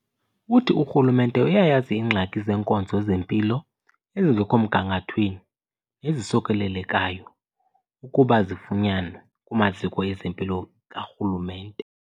Uthi urhulumente uyayazi iingxaki zeenkonzo zempilo ezingekho mgangathweni ezisokolelekayo ukuba zifunyanwe kumaziko ezempilo karhulumente.